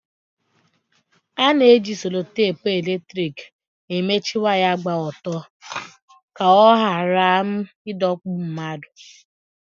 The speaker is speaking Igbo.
Ana-eji seloteepu eletrik emechi waya gba ọtọ ka ọ ghara ịdọgbu mmadụ.